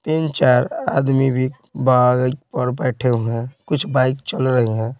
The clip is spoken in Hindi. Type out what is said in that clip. तीन चार आदमी भी बाइक पर बैठे हुए हैं कुछ बाइक चल रही है।